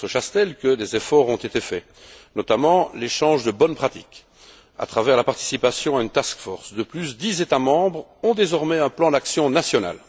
le ministre Chastel, que des efforts ont été faits, notamment par l'échange de bonnes pratiques ou à travers la participation à une task force. De plus, dix États membres ont désormais un plan d'action national.